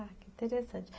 Ah, que interessante.